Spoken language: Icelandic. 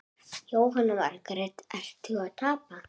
Jóhanna Margrét: Ertu að tapa?